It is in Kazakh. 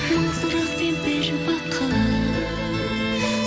мың сұрақпен бір бақыт